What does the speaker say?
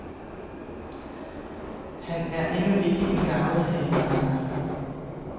Han er endnu ikke en garvet haveejer.